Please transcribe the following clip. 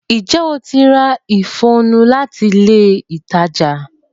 Ǹjẹ́ o ti ra ìfọnu láti ilé ìtajà?